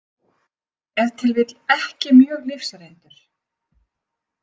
Ef til vill ekki mjög lífsreyndur.